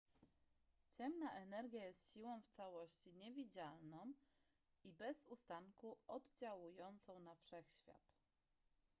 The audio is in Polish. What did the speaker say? ciemna energia jest siłą w całości niewidzialną i bez ustanku oddziałującą na wszechświat